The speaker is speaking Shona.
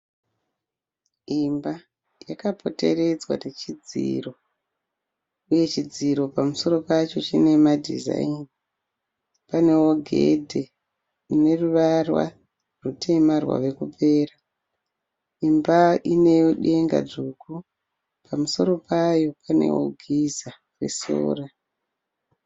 Imba. Yaakapoteredzwa nechidziro uye chidziro pamusoro pacho chine madezaini. Panewo gede rine ruvara rutema rwakupera. Imba inedenga dzvuku, pamusoro payo pane giza nesora.